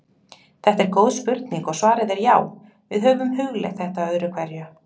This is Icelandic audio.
Þetta er góð spurning og svarið er já: Við höfum hugleitt þetta öðru hverju.